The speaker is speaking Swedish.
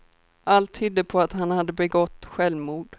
Allt tydde på att han hade begått självmord.